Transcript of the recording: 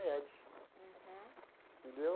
Uhum. Entendeu?